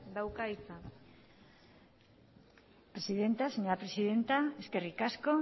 dauka hitza señora presidenta eskerrik asko